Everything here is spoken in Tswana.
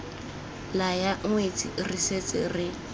laya ngwetsi re setse re